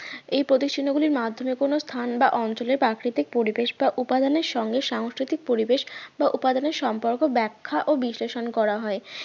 এই প্রতীক চিহ্ন গুলির মাধ্যমে কোন স্থান বা অঞ্চলের প্রাকৃতিক পরিবেশ বা উপাদানের সঙ্গে সাংস্কৃতিক পরিবেশ বা উপাদানের সম্পর্ক ব্যাখ্যা ও বিশ্লেষণ করা হয়